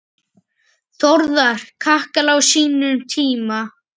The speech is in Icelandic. Þórðar kakala á sínum tíma.